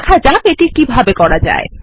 দেখা যাক এটি কিভাবে করা যায়